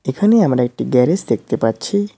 এখানে আমরা একটি গ্যারেজ দেখতে পাচ্ছি।